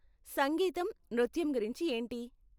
సంగీతం, నృత్యం గురించి ఏంటి?